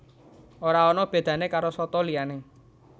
Ora ana bedané karo soto liyané